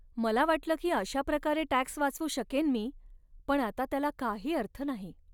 मला वाटलं की अशा प्रकारे टॅक्स वाचवू शकेन मी, पण आता त्याला काही अर्थ नाही.